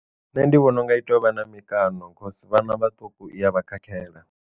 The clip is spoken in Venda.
Nṋe ndi vhona unga i tea uvha na mikano cause vhana vhaṱuku iya vha khakhela.